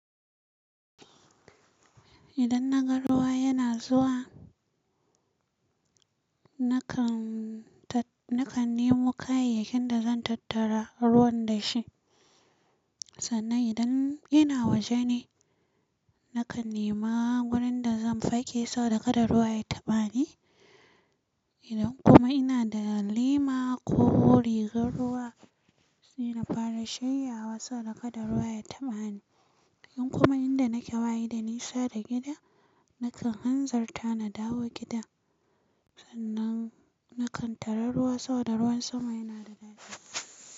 Idan na ga ruwa yana zuwa, na kan tat-na kan nemo kayayyakin da zan tattara ruwan da shi. Sannan idan yana waje ne, na kan nima wurin da zan fake sau da kaɗa ruwa ya taɓa ni. Idan kuma ina da lima ko rigar ruwa, suna fara shiryawa sau da kaɗa ruwa ya taɓa ni. In kuma inda nake waye da nisa da gida, na kan hanzarta na dawo gida. Sannan na kan tare ruwa sau da ruwan sama yana da gadi.